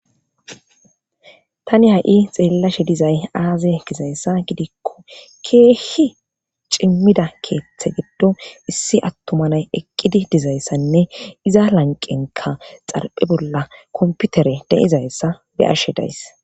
tani ha7i xeellashe dizay aaze gizayssa gidikko keehhi cimmida keetththe giddo issi attumanay eqqidi dizayssanne iza lanqenka xarphe bolla komputere deizayssa be ashe days